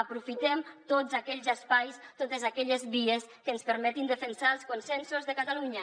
aprofitem tots aquells espais totes aquelles vies que ens permetin defensar els consensos de catalunya